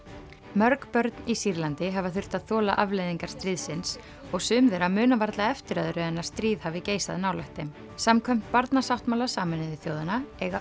mörg börn í Sýrlandi hafa þurft að þola afleiðingar stríðsins og sum þeirra muna varla eftir öðru en að stríð hafi geisað nálægt þeim samkvæmt Barnasáttmála Sameinuðu þjóðanna eiga